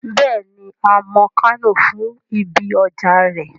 Bẹ́ẹ̀ni, a mọ Kánò fún ibi ọjà rẹ̀